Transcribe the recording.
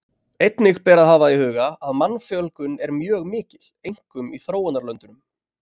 Einnig ber að hafa í huga að mannfjölgun er mjög mikil, einkum í þróunarlöndunum.